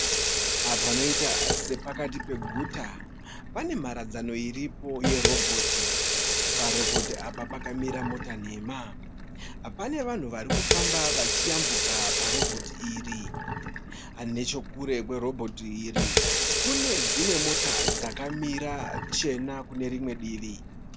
Apa panoita sepakati peguta pane mharadzano iripo yerobhoti. Parobhoti apa pakamira mota nhema. Pane vanhu vari kufamba vachiyambuka parobhoti iri. Nechekure kwerobhoti iri kune dzimwe mota dzakamira chena kune rimwe divi.